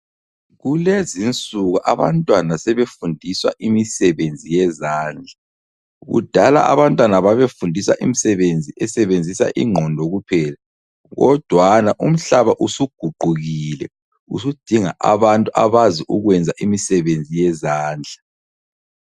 Kulezinsuku abantwana sebefundiswa imisebenzi yezandla. Kudala abantwana babefundiswa isisebenzi esebenzisa ingqondo kuphela, kodwana umhlaba usuguqukile usudinga abantu abazi ukwenza imisebenzi yezandla.